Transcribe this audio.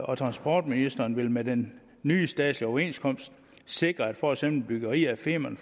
og transportministeren vil med den nye statslige overenskomst sikre at for eksempel byggeri af femern